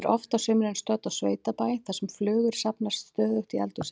Ég er oft á sumrin stödd á sveitabæ þar sem flugur safnast stöðugt í eldhúsið.